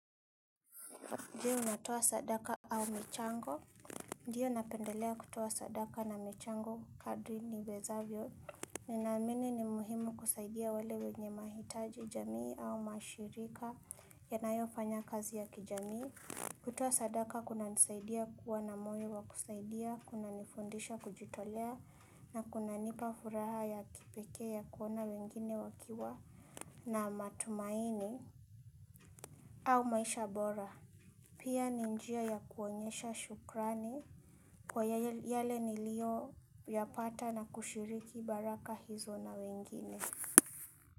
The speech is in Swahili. Ndiyo natoa sadaka au michango. Ndiyo napendelea kutoa sadaka na michango kadri niwezavyo. Ninamini ni muhimu kusaidia wale wenye mahitaji jamii au mashirika yanayofanya kazi ya kijamii. Kutoa sadaka kunanisaidia kuwa na moyo wa kusaidia, kunanifundisha kujitolea na kuna nipa furaha ya kipekee ya kuona wengine wakiwa na matumaini au maisha bora. Pia ni njia ya kuonyesha shukrani kwa yale nilio yapata na kushiriki baraka hizo na wengine.